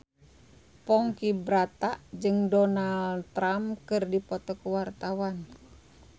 Ponky Brata jeung Donald Trump keur dipoto ku wartawan